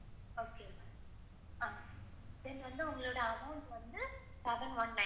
Then வந்து உங்களோட amount வந்து t seven one nine.